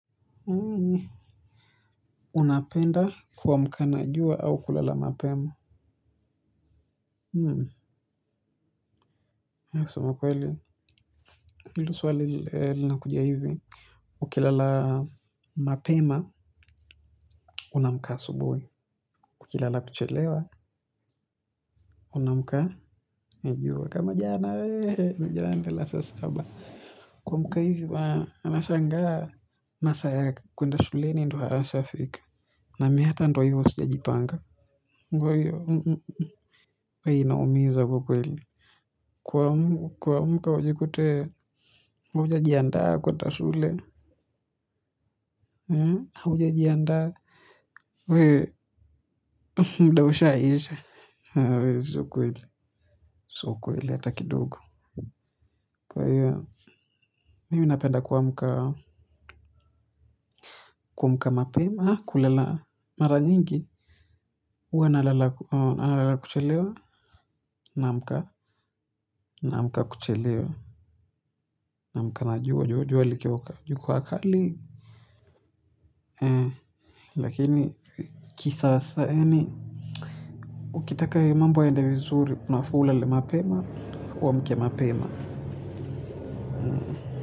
Unapenda kuamka na jua au kulala mapema. Huu sema kweli. Hili swali lina kuja hivi. Ukilala mapema unamkaa asubuhi. Ukilala kuchelewa Unamkaa. Najua kama jana wehe mijana nkalala saa saba. Kuamka hivi bana anashangaa. Masa ya kwenda shuleni ndo haya yashafika. Na miata ndo hivo sijajipanga. We inaumiza kukweli. Kuamka ujikute uja jiandaa kuenda shule. Uja jiandaa. Wee mdausha isha. Wee suko ili. Sio ukweli hata kidogo. Kwa hiyo. Mimi napenda kuamka. Kuamka mapema. Kulala. Mara nyingi. Uwa na lala kuchelewa. Namka. Naamka kuchelewa. Namka na jua jua likiwa. Liki wakali. Lakini kisasa ukitaka ya mambo yaende vizuri unafaa ulale mapema. Uamke mapema.